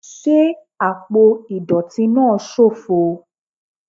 Ṣe apo idọti naa ṣofo